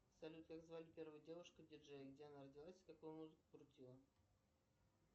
салют как звали первую девушку диджея где она родилась какую музыку крутила